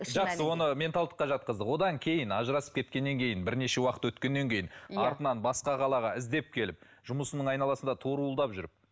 жақсы оны менталдыққа жатқыздық содан кейін ажырасып кеткеннен кейін бірнеше уақыт өткеннен кейін артынан басқа қалаға іздеп келіп жұмысының айналасында торуылдап жүріп